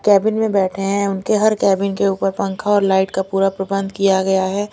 Cabin में बैठे हैं उनके हर कैबिन के ऊपर पंखा और लाइट का पूरा प्रबंध किया गया है।